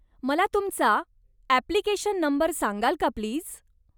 मला तुमचा application number सांगाल का प्लीज?